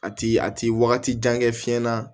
A ti a ti wagati jan kɛ fiɲɛ na